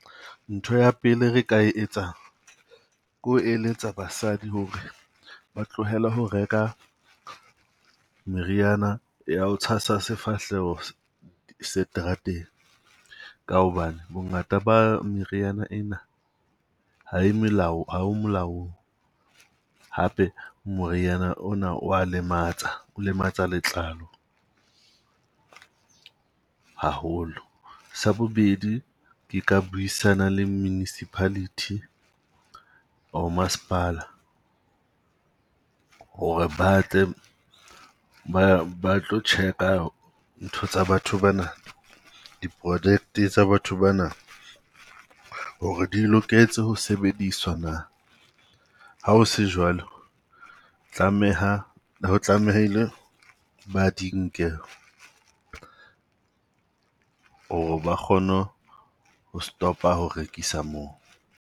Ntho ya pele re ka etsang ke ho eletsa basadi ho re ba tlohele ho reka meriana ya ho tshasa sefahleho seterateng, ka hobane bongata ba meriana ena ha melao o molaong. Hape moriana ona o wa lematsa, o lematsa letlalo haholo. Sa bobedi ke ka buisana le municipality or masepala ho re batle ba tlo check-a ntho tsa batho bana. Di-project tsa batho bana ho re di loketse ho sebediswa na? Ha ho se jwalo tlameha tlamehile ba di nke ho re ba kgone ho stop-a ho rekisa moo.